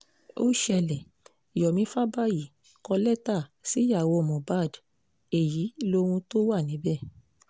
ó ṣẹlẹ̀ yomi fabayì kọ lẹ́tà síyàwó mohbad èyí lóhun tó wà níbẹ̀